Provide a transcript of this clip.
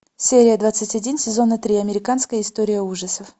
серия двадцать один сезона три американская история ужасов